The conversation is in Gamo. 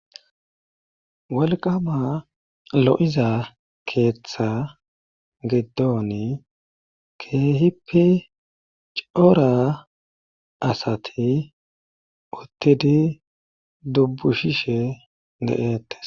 Wolqama lo7iza keetha giddoni keehippe cora asati uttidi dubbushishe de7eettes.